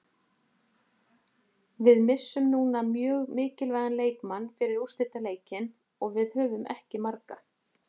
Við missum núna mjög mikilvægan leikmann fyrir úrslitaleikinn og við höfum ekki marga.